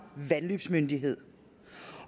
vandløbsmyndigheder